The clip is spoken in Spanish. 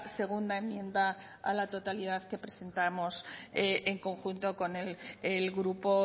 segunda enmienda a la totalidad que presentamos en conjunto con el grupo